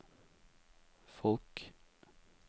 folk